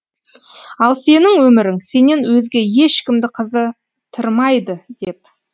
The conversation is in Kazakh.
ал сенің өмірің сенен өзге ешкімді қызытырмайды деп